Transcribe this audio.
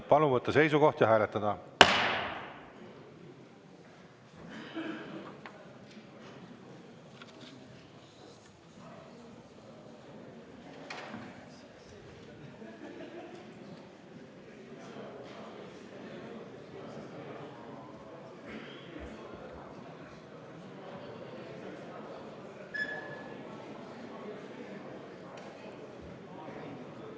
Palun võtta seisukoht ja hääletada!